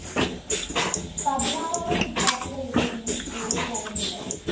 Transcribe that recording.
പതിനാറോളം വിദ്യാര്‍ത്ഥികള്‍ ഇവിടെ നിന്നും സ്‌കൂളില്‍ പോകുന്നുണ്ട്